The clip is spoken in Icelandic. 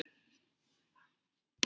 Nú fellur enn meira lið.